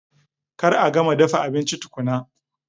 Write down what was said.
Kar a gama dafa abinci tukuna!